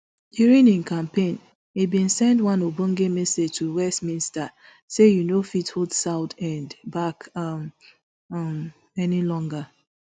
during im campaign e bin send one ogbonge message to westminster say you no fit hold southend back um um any longer